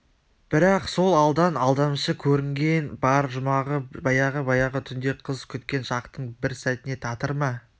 бірақ сол алдан алдамшы көрінген бар жұмағы баяғы-баяғы түнде қыз күткен шақтың бір сәтіне татыр ма